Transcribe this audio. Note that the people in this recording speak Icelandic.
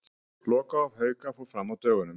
Lokahóf Hauka fór fram á dögunum.